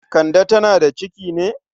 Kande tana da ciki ne?